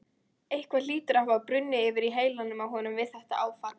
Eitthvað hlýtur að hafa brunnið yfir í heilanum á honum við þetta áfall.